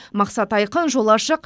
мақсат айқын жол ашық